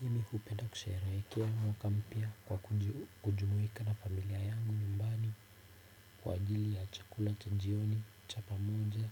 Mimi hupenda kusherehekea mwaka mpya kwa kujumuika na familia yangu nyumbani kwa ajili ya chakula cha jioni cha pamoja